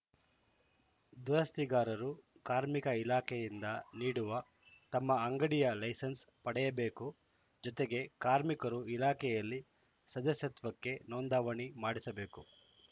ದುರಸ್ತಿಗಾರರು ಕಾರ್ಮಿಕ ಇಲಾಖೆಯಿಂದ ನೀಡುವ ತಮ್ಮ ಅಂಗಡಿಯ ಲೈಸೆನ್ಸ್‌ ಪಡೆಯಬೇಕು ಜೊತೆಗೆ ಕಾರ್ಮಿಕರು ಇಲಾಖೆಯಲ್ಲಿ ಸದಸ್ಯತ್ವಕ್ಕೆ ನೋಂದಾವಣೆ ಮಾಡಿಸಬೇಕು